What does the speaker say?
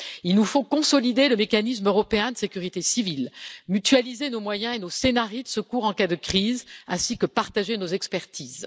Il nous faut consolider le mécanisme européen de sécurité civile, mutualiser nos moyens et nos scénarios de secours en cas de crise, ainsi que partager nos expertises.